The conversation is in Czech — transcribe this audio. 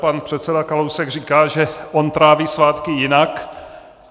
Pan předseda Kalousek říká, že on tráví svátky jinak.